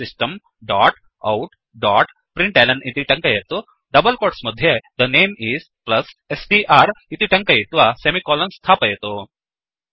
system dot out dot println इति टङ्कयतु double quotes मध्ये थे नमे इस् स्ट्र् इति टङ्कयित्वा सेमिकोलन् स्थापयतु